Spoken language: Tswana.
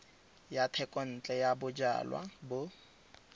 ya thekontle ya bojalwa bo